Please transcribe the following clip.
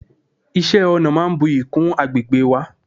iṣẹ ọna máà ń buyì kún agbegbe wa